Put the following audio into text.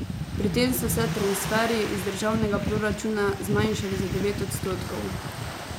Pri tem so se transferji iz državnega proračuna zmanjšali za devet odstotkov.